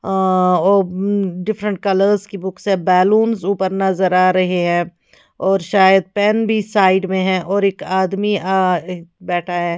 आ ओ hmm different colours की books है बैलून्स भी नज़र आ रहा है और शायद पेन भी साईड में है और एक आदमी अ बैठा है।